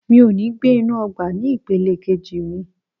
Mo ò ní gbé inú ọgbà ní ìpele kejì mi.